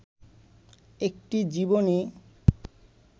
একটি জীবনী